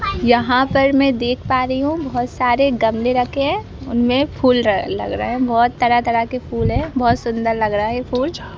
यहाँ पर में देख पा रही हूं बहोत सारे गमले रखे हैं उनमें फूल ल लग रहा है बहुत तरह-तरह के फूल हैं बहुत सुंदर लग रहा है ये फूल।